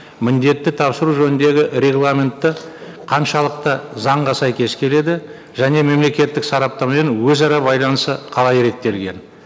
міндетті тапсыру жөніндегі регламенты қаншалықты заңға сәйкес келеді және мемлекеттік сараптамамен өзара байланысы қалай реттелген